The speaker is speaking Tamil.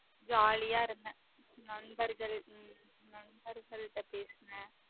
Jolly ஆ இருந்தேன் நண்பர்கள் உம் நண்பர்கள்ட பேசினேன்